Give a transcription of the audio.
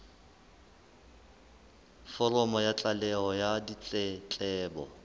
foromo ya tlaleho ya ditletlebo